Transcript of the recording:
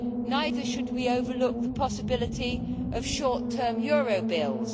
Neither should we overlook the possibility of short term euro bills.